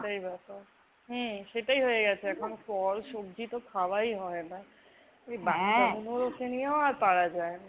সেটাই বা। হম সেটাই হয়েগেছে এখন। ফল সব্জিতো খাওয়াই হয় না এই বাচ্চাগুলোকে নিয়েও আর পারা যায়না।